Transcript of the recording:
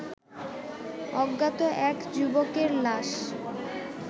অজ্ঞাত এক যুবকের লাশ